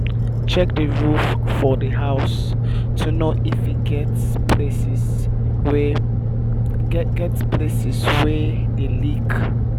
check di roof for di house to know if e get places wey get places wey dey leak